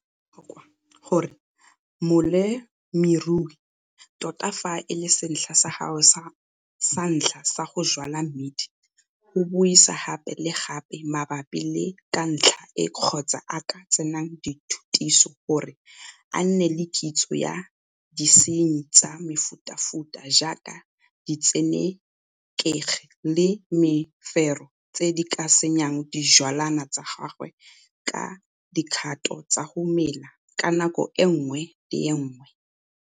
Go botlhokwa gore molemirui, tota fa e le setlha sa gagwe sa ntlha sa go jwala mmidi, go buisa gape le gape mabapi le ka ntlha e kgotsa a ka tsena dithutiso gore a nne le kitso ya disenyi tsa mefutafuta jaaka ditsenekegi le mefero tse di ka senyang dijwalwa tsa gagwe ka dikgato tsa go mela ka nako e nngwe le e nngwe.